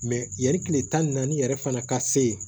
yanni kile tan ni naani yɛrɛ fana ka se yen